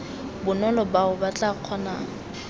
bonolo bao ba tla kgonang